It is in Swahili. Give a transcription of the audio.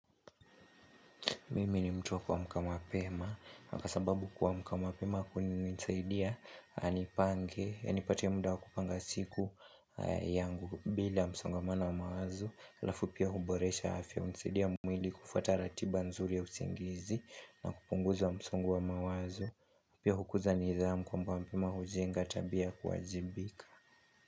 Mimi ni mtu wa kuamka mapema. Kwa sababu kwa kuamka mapema kunanisaidia, nipange, nipatia muda wakupanga siku yangu, bila msongamano wa mawazo alafu pia huboresha afya msangamana wa mawazu, kufuata ratiba nzuri ya usingizi, na kupunguzi wa msongu wa mawazo. Pia hukuza nidhamu kuamka mapema hujenga tabia kuajibika.